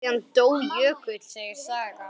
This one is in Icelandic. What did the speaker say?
Síðan dó Jökull, segir sagan.